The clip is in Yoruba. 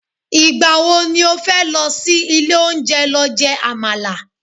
igbawo ni o fe lo sí ilè onje lo je amala